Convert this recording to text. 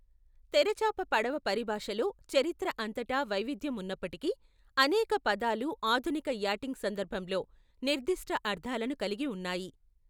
తెరచాప పడవ పరిభాషలో చరిత్ర అంతటా వైవిధ్యం ఉన్నప్పటికీ, అనేక పదాలు ఆధునిక యాటింగ్ సందర్భంలో నిర్దిష్ట అర్థాలను కలిగి ఉన్నాయి.